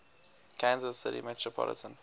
kansas city metropolitan